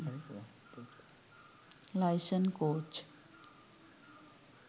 license coach